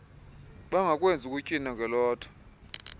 bangakwenzi ukutywina ngelothe